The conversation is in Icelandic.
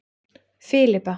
Filippa